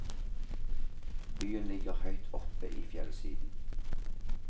Byen ligger høyt oppe i fjellsiden.